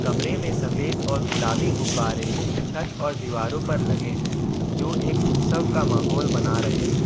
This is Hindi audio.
कमरे में सफेद और गुलाबी गुब्बारे छत और दीवारों पर लगे हैं जो एक उत्सव का माहौल बना रहे हैं।